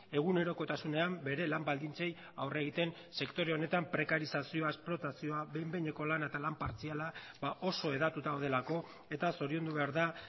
egunerokotasunean bere lan baldintzei aurre egiten sektore honetan prekariezazioa esplotazioa behin behineko lana eta lan partziala oso hedatuta daudelako eta zoriondu behar da